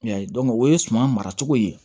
I y'a ye o ye suma mara cogo ye